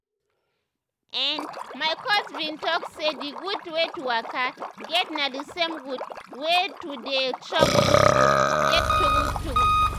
erm my coach bin talk say d gud wey to waka get na d same gud wey to dey chop gud food get true true.